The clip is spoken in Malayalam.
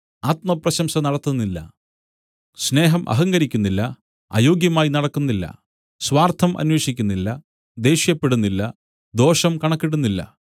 ആത്മപ്രശംസ നടത്തുന്നില്ല സ്നേഹം അഹങ്കരിക്കുന്നില്ല അയോഗ്യമായി നടക്കുന്നില്ല സ്വാർത്ഥം അന്വേഷിക്കുന്നില്ല ദ്വേഷ്യപ്പെടുന്നില്ല ദോഷം കണക്കിടുന്നില്ല